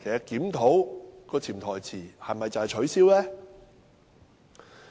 檢討的潛台詞是否要把它取消？